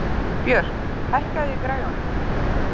Björk, hækkaðu í græjunum.